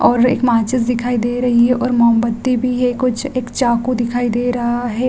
और एक माचीस दिखाई दे रही है और मोमबत्ती भी है और चाकू भी दिखाई दे रहा है ।